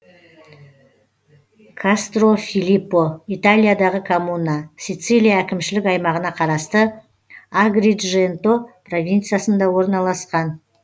кастрофилиппо италиядағы коммуна сицилия әкімшілік аймағына қарасты агридженто провинциясында орналасқан